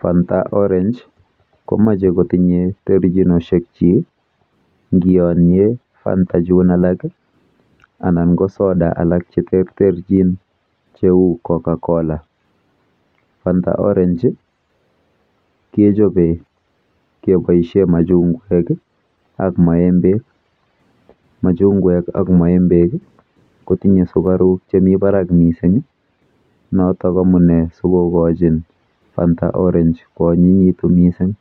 Fanta orange komeche kotinye terchinoshekchi nkiyonye Fanta chun alak anan ko soda alak cheterterchin cheu Cocacola. Fanta orange kechope keboishe machung'wek ak maembek. Machungwek ak maembek kotinye sukaruk chemi barak mising notok amune sikokochin Fanta orange koonyinyitu mising.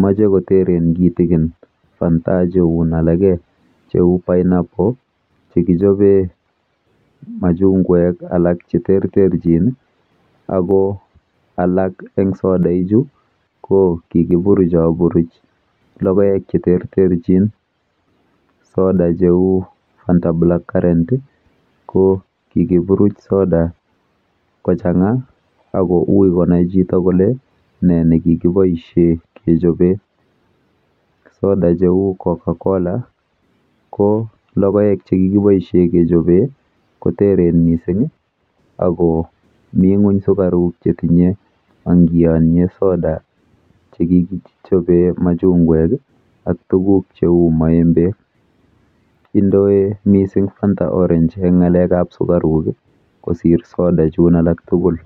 Moche koteren kitikin Fanta chun alake cheu Pineapple chekichope matundek alak cheterterchin ako alak eng sodaichu kikiburuchaburuch logoek cheterterchin. Soda cheu Fanta black currant ko kikiburuch soda kochang'a ako ui konai chito kole nee nekikiboishe kechope. Soda cheu Cocacola ko logoek chekikiboishe kechope koteren mising ako mi ng'uny sukaruk chetinye angiyonye soda chekikichope machung'wek ak tuguk cheu maembek. Indoe mising Fanta orange eng ng'alekap sukaruk kosir soda chun alak tugul.